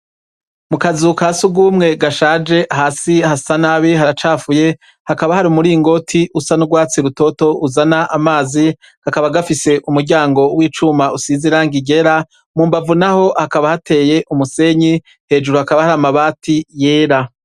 Mu kazukasi ugumwe gashaje hasi hasa nabi haracafuye hakaba hari umuringoti usa n'urwatsi rutoto uzana amazi gakaba gafise umuryango w'icuma usizira ngigera mumbavu, naho hakaba hateye umusenyi hejuru hakaba hari amabati yera.